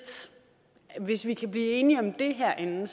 hvis vi kan blive enige om det herinde